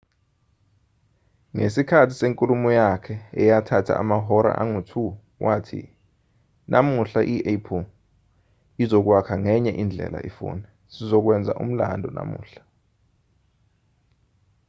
ngesikhathi senkulumo yakhe eyathatha amahora angu-2 wathi namuhla i-apple izokwakha ngenye indlela ifoni sizokwenza umlando namuhla